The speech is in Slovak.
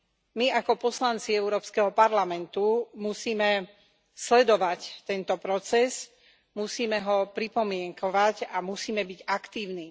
My, ako poslanci Európskeho parlamentu, musíme sledovať tento proces, musíme ho pripomienkovať a musíme byť aktívni.